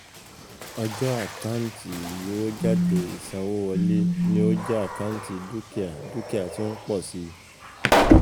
Ọjọ́ ,àkántì, Ìgbowójáde ,ìsanwówọlé, ni ó jẹ́ àkántì dúkìá dúkìá tí ó ń pọ̀ sí i.